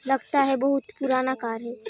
लगता है बहुत पुराना कार है।